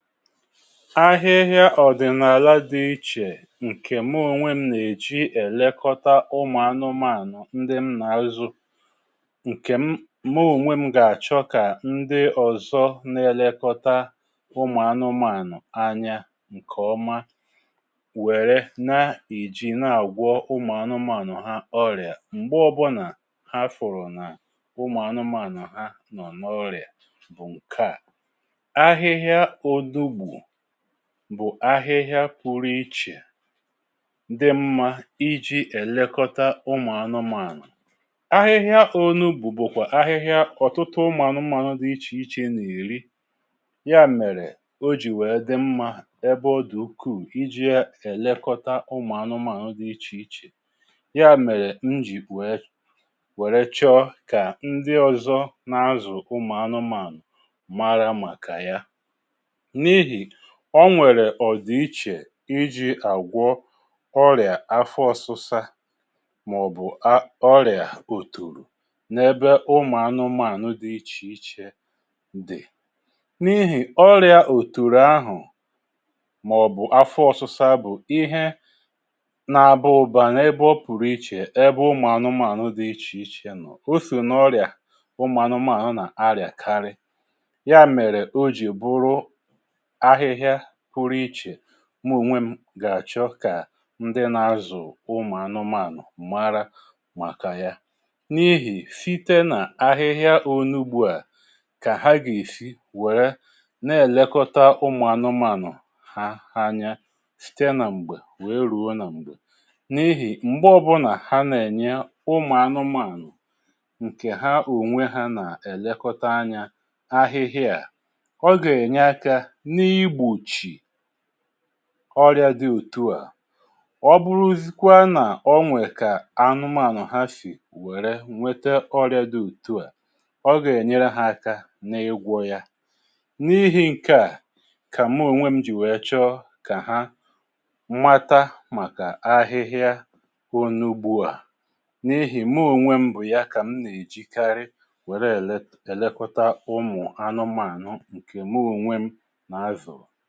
Ahịhịa ọ̀dị̀nàlà dị ichè ǹkè mụ ònwe m nà-èji èlekọta ụmụ̀ anụmanụ̀ ndi m nà-azụ ǹkè m mụ oǹwe m gà-àchọ kà ndi ọ̀zọ nà-èlekọta ụmụ̀ anụmanụ̀ anya ǹkè ọma wère na-èji na-àgwọ ụmụ̀ anụmanụ̀ ha ọrịà m̀gbe ọbụnà ha fụrụ̀ nà ụmụ̀ anụmanụ̀ ha nọ n’ọrịà bụ̀ ǹke à; ahịhịa odogbu bụ̀ ahịhịa pụrụ ichè dị mmȧ iji̇ èlekọta ụmụ̀anụmaànụ̀. Ahịhịa onugbù bụ̀kwà ahịhịa ọ̀tụtụ ụmụ̀anụmȧànụ̀ dị ichè ichè n’eri. Ya mèrè o jì wèe dị mmȧ ebe ọ dị̀ ukwuù iji̇ ya èlekọta ụmụ̀anụmȧànụ̀ dị ichè ichè. Ya mèrè njì wèe wère chọ kà ndị ọ̀zọ n’azụ̀ ụmụ̀anụmȧànụ̀ mara màkà ya. N’ihi onwèrè ọ̀dị ichè iji̇ àgwọ ọrị̀à afọ ọ̀sụsa mà ọ̀bụ̀ a ọrị̀à òtoro n’ebe ụmụ̀ anụmȧànụ dị̀ ichè ichè dị̀. N’ihì ọrị̀à òtoro ahụ̀ mà ọ̀bụ̀ afọ ọ̀sụsa bụ̀ ihe nȧ-ȧbà ụ̀ba n’ebe ọ pụ̀rụ̀ ichè ebe ụmụ̀ anụmȧànụ dị̀ ichè ichè nọ̀. Oso nà ọrị̀à ụmụ̀ anụmȧànụ nà arị̀à karị. Ya mèrè o jì bụ̀rụ ahịhịa pụ̀rụ̀ ichè mụ̀ onwè m gà-àchọ kà ndị nà-azụ̀ ụmụ̀anụmànụ̀ mara màkà ya. N’ihì site nà ahịhịa onu gbu à kà ha gà-èsi wère nà-èlekọta ụmụ̀anụmànụ̀ ha ha anya site nà m̀gbè wèe rùo nà m̀gbè. N’ihì m̀gbe ọbụlà ha nà-ènye ụmụ̀anụmànụ̀ ǹkè ha ònwe ha nà-èlekọta anya ahịhịa, ọga enye aka n’igbochi ọrịȧ dị òtù a. Ọ bụrụzịkwa na onwè kà anụmanụ̀ ha sì wère nwete ọrịȧ dị òtù a, ọ gà-ènyere ha aka n’igwọ ya. N’ihi ǹke a kà mụ ònwe m jì wèe chọ kà ha mata màkà ahịhịa onugbu a. N’ihì mụ ònwe m bụ̀ ya kà m nà-èjikarị wère ele elekota ụmụ̀ anụmanụ̀ ǹkè mụ ònwe m nà-azụ̀